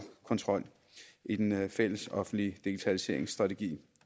kontrol i den fællesoffentlige digitaliseringsstrategi